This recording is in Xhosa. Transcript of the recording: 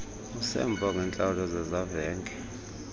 usemva ngeentlawulo zezavenge